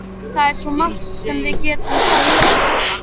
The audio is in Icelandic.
Það er svo margt sem við getum sagt án orða.